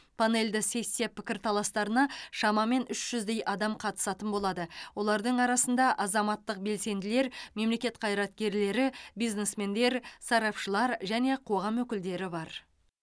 панельді сессия пікірталастарына шамамен үш жүздей адам қатысатын болады олардың арасында азаматтық белсенділер мемлекет қайраткерлері бизнесмендер сарапшылар және қоғам өкілдері бар